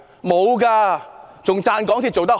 沒有，還稱讚港鐵做得好。